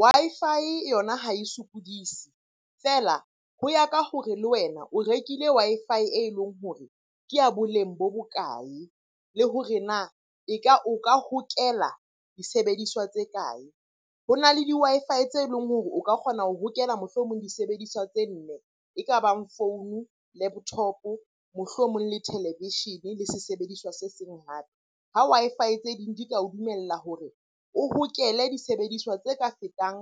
Wi-Fi yona ha e sokodise, feela ho ya ka hore le wena o rekile Wi-Fi e leng hore ke ya boleng bo bokae? Le hore na o ka hokela disebediswa tse kae? Ho na le di-Wi-Fi tse leng hore o ka kgona ho hokela mohlomong disebediswa tse nne e kabang founu, laptop-o, mohlomong le televishene, le se sebediswa se seng hape. Ha Wi-Fi tse ding di ka o dumella hore o hokele disebediswa tse ka fetang